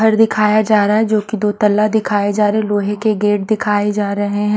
घर दिखाया जा रहा है जो कि दो तल्ला दिखाए जा रहे लोहे के गेट दिखाए जा रहे हैं।